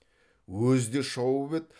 өзі де шауып еді